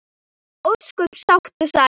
Ósköp sátt og sæl.